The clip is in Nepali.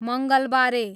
मङ्गलबारे